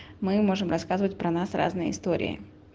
мы можем рассказывать про нас разные истории